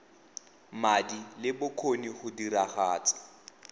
madi le bokgoni go diragatsa